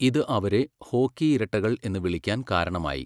ഇത് അവരെ 'ഹോക്കി ഇരട്ടകൾ' എന്ന് വിളിക്കാൻ കാരണമായി.